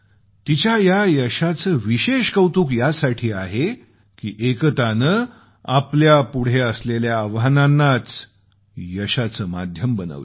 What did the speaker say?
तिच्या या यशाचं विशेष कौतुक यासाठी आहे की एकतानं आपल्यापुढं असलेल्या आव्हानांनाच यशाचं माध्यम बनवलं